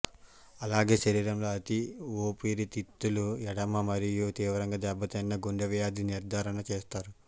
అలాగే శరీరంలో అది ఊపిరి తిత్తులు ఎడెమా మరియు తీవ్రంగా దెబ్బతిన్న గుండె వ్యాధి నిర్ధారణ చేస్తారు